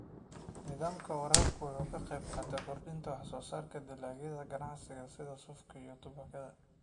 Nidaamka waraabku wuxuu ka qaybqaataa kordhinta wax-soo-saarka dalagyada ganacsiga sida suufka iyo tubaakada.